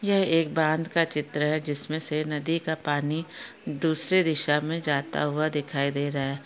यह एक बांध का चित्र है जिस मे से नदी का पानी दूसरे दिशा मे जाता हुआ दिखाई दे रहा है।